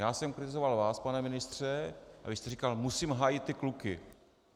Já jsem kritizoval vás, pane ministře, a vy jste říkal: musím hájit ty kluky.